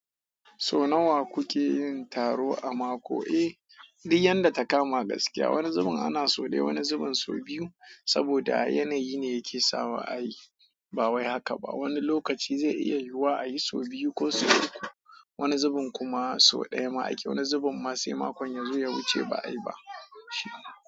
So nawa kuke yin taro a mako? Eh, duk yadda takama gaskiya, wani zubin ana so ɗaya, wani zubin so biyu. Saboda yanayi ne yake sawa a yi. Ba wai haka ba. Wani lokaci zai iya yiwuwa a yi so biyu ko so uku. Wani zubin kuma so ɗaya ma ake. Wani zubin ma sai makon yazo ya wuce ba a yi ba shi.